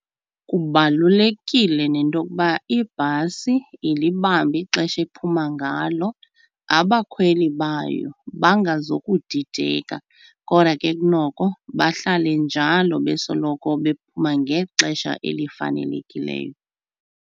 Kubalulekile nento yokuba ibhasi ilibambe ixesha ephuma ngalo, abakhweli bayo bangazokudideka, kodwa ke kunoko bahlale njalo besoloko bephuma ngexesha elifanelekileyo.